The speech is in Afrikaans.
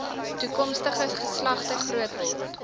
toekomstige geslagte grootword